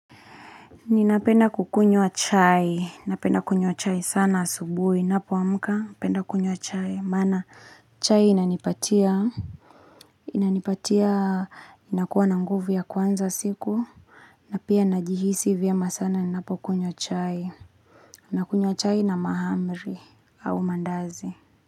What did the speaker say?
Ninapenda kukunywa chai, napenda kunywa chai sana asubuhi, napoamka, napenda kunywa chai, mana chai inanipatia, inanipatia, inakuwa na nguvu ya kuanza siku, napia najihisi vyema sana, napo kunywa chai, nakunywa chai na mahamri au mandazi.